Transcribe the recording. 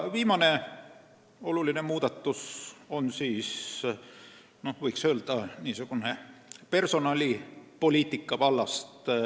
Viimane oluline muudatus on, võiks öelda, personalipoliitika vallast.